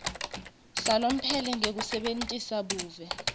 salomphelo ngekusebentisa buve